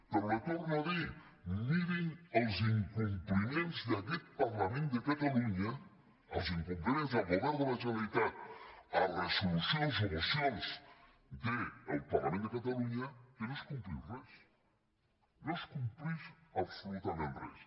però li ho torno a dir mirin els incompliments d’aquest parlament de catalunya els incompliments del govern de la generalitat de resolucions o mocions del parlament de catalunya en què no es compleix res no es compleix absolutament res